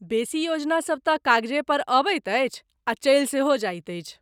बेसी योजनासब तँ कागजे पर अबैत अछि, आ चलि सेहो जाइत अछि।